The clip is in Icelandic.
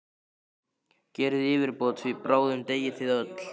Gerið yfirbót, því bráðum deyið þið öll!